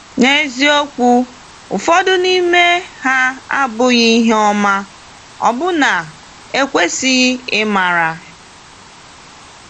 N’eziokwu, ụfọdụ n’ime ha abụghị ihe ọma, ọbụna ekwesịghị ịmara.